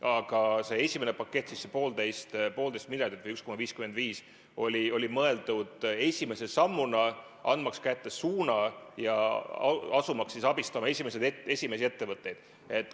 Aga esimene pakett, see 1,5 miljardit või 1,55 miljardit oli mõeldud esimese sammuna, andmaks kätte suunda ja asumaks abistama esimesi ettevõtteid.